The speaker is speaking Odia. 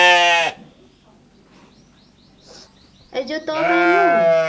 ଏଇ ଯଉ ତୋ ପାଇଁ ମୁଁ